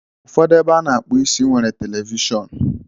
Ụfọdụ ebe a na-akpụ isi nwere televishọnu.